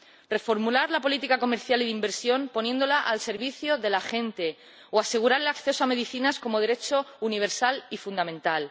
reformular la política comercial y de inversión, poniéndola al servicio de la gente, o asegurar el acceso a las medicinas como derecho universal y fundamental.